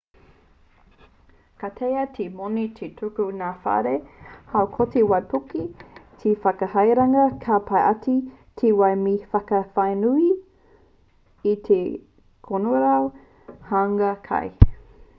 ka taea te moni te tuku ki ngā whare haukoti waipuke te whakahaerenga pai ake i te wai me te whakawhānui i te kanorau huanga kai